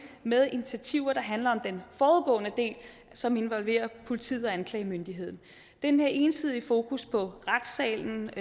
med initiativer der handler om den forudgående del som involverer politiet og anklagemyndigheden den her ensidige fokus på retssalen